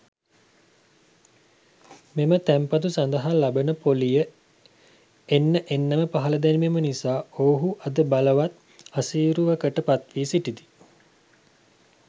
මෙම තැන්පතු සඳහා ලබන පොලිය එන්න එන්නම පහළ දැමීම නිසා ඔවුහු අද බලවත් අසීරුවකට පත්වී සිටිති.